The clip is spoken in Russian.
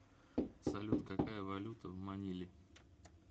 салют какая валюта в маниле